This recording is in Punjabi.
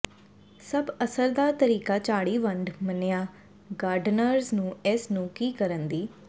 ਸਭ ਅਸਰਦਾਰ ਤਰੀਕਾ ਝਾੜੀ ਵੰਡ ਮੰਨਿਆ ਗਾਰਡਨਰਜ਼ ਨੂੰ ਇਸ ਨੂੰ ਕੀ ਕਰਨ ਦੀ